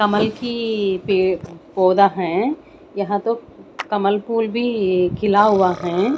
कमल की पे पौधा है यहां तो कमल फुल भी खिला हुआ हैं।